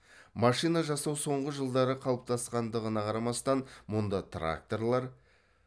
машина жасау соңғы жылдары қалыптасқандығына қарамастан мұнда тракторлар